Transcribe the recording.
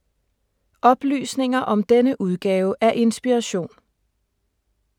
Oplysninger om denne udgave af Inspiration